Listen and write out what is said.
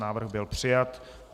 Návrh byl přijat.